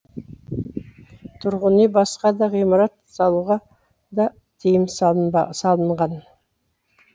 тұрғын үй басқа да ғимарат салуға да тыйым салынған